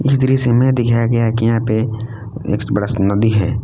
इस दृश्य में दिखाया गया है कि यहां पे एक बड़ा सा नदी है।